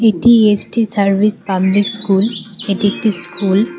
এটি S T service public school এটি একটি স্কুল ।